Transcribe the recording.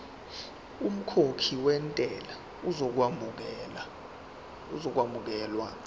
umkhokhi wentela uzokwamukelwa